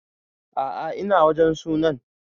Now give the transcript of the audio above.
A'a ina wajen sunan